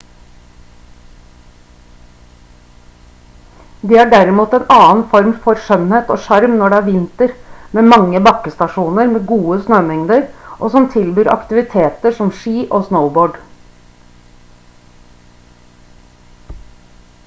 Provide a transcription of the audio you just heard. de har derimot en annen form for skjønnhet og sjarm når det er vinter med mange bakkestasjoner med gode snømengder og som tilbyr aktiviteter som ski og snowboard